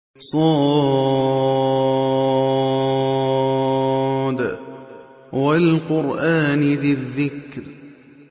ص ۚ وَالْقُرْآنِ ذِي الذِّكْرِ